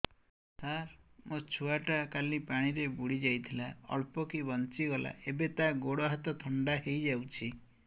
ସାର ମୋ ଛୁଆ ଟା କାଲି ପାଣି ରେ ବୁଡି ଯାଇଥିଲା ଅଳ୍ପ କି ବଞ୍ଚି ଗଲା ଏବେ ତା ଗୋଡ଼ ହାତ ଥଣ୍ଡା ହେଇଯାଉଛି